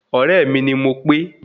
Ọ̀rẹ́ mi ni Mopé